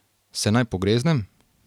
Se naj pogreznem?